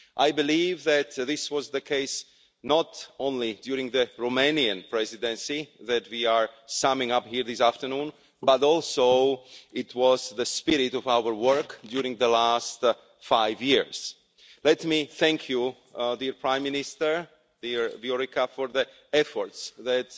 I believe that this was the case not only during the Romanian Presidency that we are summing up here this afternoon, but also it was the spirit of our work during the last five years. Let me thank Prime Minister Dăncilă for the efforts that